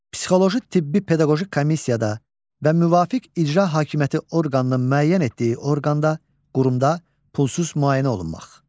Psixoloji tibbi pedaqoji komissiyada və müvafiq icra hakimiyyəti orqanının müəyyən etdiyi orqanda, qurumda pulsuz müayinə olunmaq.